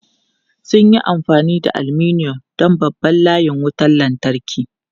Sun yi amfani da aluminum don babban layin wutar lantarki.